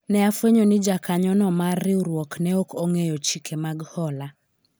ne afwenyo ni jakanyo no mar riwruok ne ok ong'eyo chike mag hola